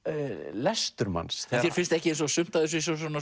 lestur manns þér finnst ekki eins og sumt af þessu eins og